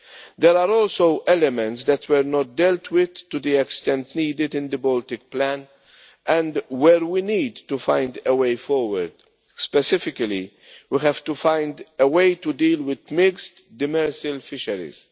There are also elements that were not dealt with to the extent needed in the Baltic plan and where we need to find a way forward. Specifically, we have to find a way to deal with mixed demersal fisheries.